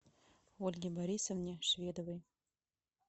ольге борисовне шведовой